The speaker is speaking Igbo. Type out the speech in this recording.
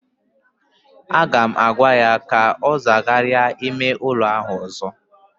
Aga m agwa ya ka ọ zagharịa ime ụlọ ahụ ọzọ!